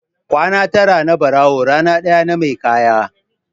Kwana tara na barawo rana ɗaya na mai kaya.